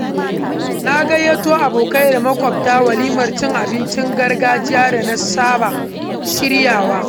Na gayyato abokai da makwabta walimar cin abincin gargajiya da na saba shirya wa.